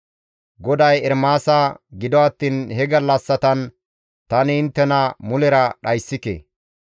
GODAY Ermaasa, «Gido attiin he gallassatan tani inttena mulera dhayssike.